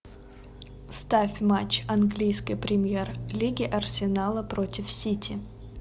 ставь матч английской премьер лиги арсенала против сити